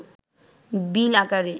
বিল আকারে